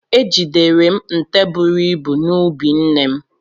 Ejidere m nte buru ibu n'ubi nne m.